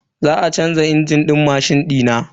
Za a canza injin din mashin dina.